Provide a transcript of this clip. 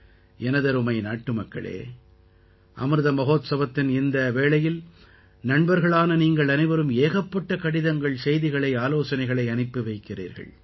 எனதருமை நாட்டுமக்களே அமிர்த மஹோத்சவத்தின் இந்த வேளையில் நண்பர்களான நீங்கள் அனைவரும் ஏகப்பட்ட கடிதங்கள் செய்திகளை ஆலோசனைகளை அனுப்பி வைக்கிறீர்கள்